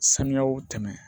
Sanuyaw tɛmɛ